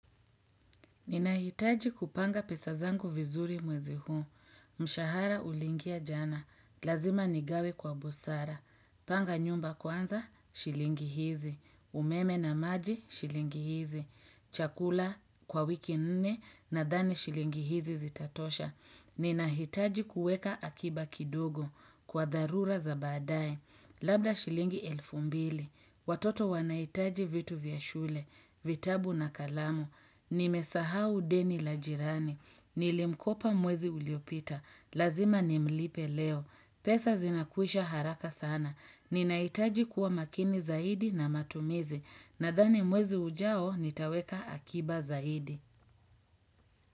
Ninahitaji kupanga pesa zangu vizuri mwezi huu, mshahara uliingia jana, lazima nigawe kwa busara, panga nyumba kwanza, shilingi hizi, umeme na maji, shilingi hizi, chakula kwa wiki nne nadhani shilingi hizi zitatosha. Ninahitaji kuweka akiba kidogo kwa dharura za baadaye. Labda shilingi elfu mbili. Watoto wanaitaji vitu vya shule, vitabu na kalamu. Nimesahau deni la jirani. Nilimkopa mwezi uliopita. Lazima nimlipe leo. Pesa zinakuisha haraka sana. Ninahitaji kuwa makini zaidi na matumizi. Nadhani mwezi ujao nitaweka akiba zaidi.